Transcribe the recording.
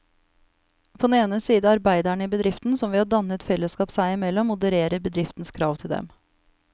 På den ene side arbeiderne i bedriften, som ved å danne et fellesskap seg imellom modererer bedriftens krav til dem.